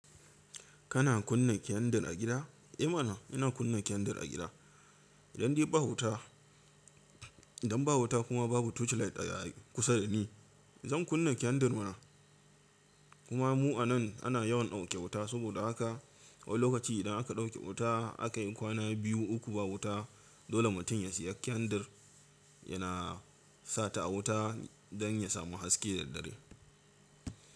Kana kunna kyan-dir a gida? Eh mana ina kunna kyan-dir a gida. Idandai ba wuta, idan ba wuta kuma babu torchlight a kusa da ni, zan kunna kyan-dir mana. Kuma mu a nan ana yawan dauke wuta, saboda haka wani lokaci idan aka dauke wuta, aka yi kwana biyu, uku ba wuta, dole mutum ya sayi kyan-dir yana sata a wuta dan ya samu haske da dare.